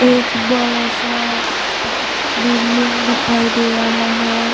एक बड़ा-सा बिल्डिंग दिखाई दे रहा है।